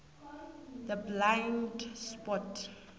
the blind spot